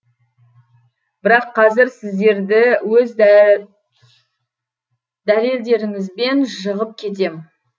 бірақ қазір сіздерді өз дәлелдеріңізбен жығып кетем